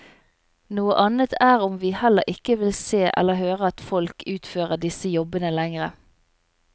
Noe annet er om vi heller ikke vil se eller høre at folk utfører disse jobbene lenger.